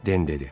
Den dedi.